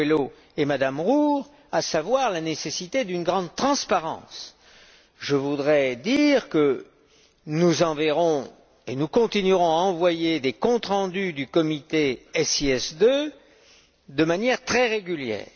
Coelho et M me Roure, à savoir la nécessité d'une grande transparence. Je voudrais dire que nous enverrons et nous continuerons à envoyer des comptes rendus du comité SIS II de manière très régulière.